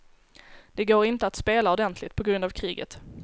Det går inte att spela ordentligt, på grund av kriget.